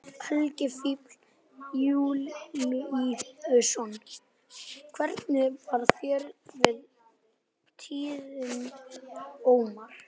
Helgi Vífill Júlíusson: Hvernig varð þér við tíðindin, Ómar?